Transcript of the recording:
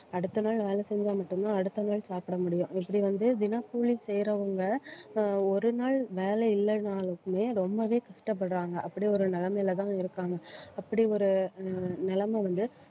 அடுத்த நாள் வேலை செஞ்சா மட்டும்தான் அடுத்த நாள் சாப்பிட முடியும். இப்படி வந்து தினக்கூலி செய்யறவங்க ஆஹ் ஒரு நாள் வேலை இல்லைனாலுமே ரொம்பவே கஷ்டப்படுறாங்க. அப்படி ஒரு நிலைமையிலதான் இருக்காங்க. அப்படி ஒரு ஆஹ் நிலைமை வந்து